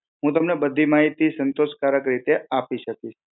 હું તમને બધી માહિતી સંતોષકારક રીતે આપી શકીશ